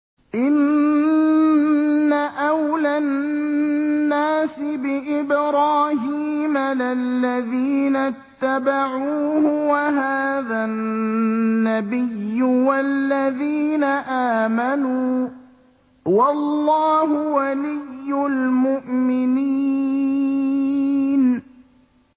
إِنَّ أَوْلَى النَّاسِ بِإِبْرَاهِيمَ لَلَّذِينَ اتَّبَعُوهُ وَهَٰذَا النَّبِيُّ وَالَّذِينَ آمَنُوا ۗ وَاللَّهُ وَلِيُّ الْمُؤْمِنِينَ